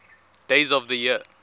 days of the year